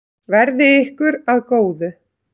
Verði ykkur að góðu.